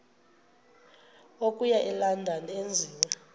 okuya elondon enziwe